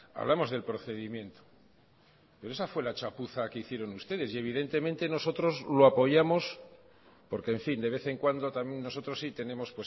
hablamos del procedimiento pero esa fue la chapuza que hicieron ustedes y evidentemente nosotros lo apoyamos porque en fin de vez en cuando también nosotros si tenemos